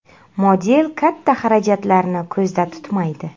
Model katta xarajatlarni ko‘zda tutmaydi.